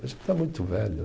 está muito velho.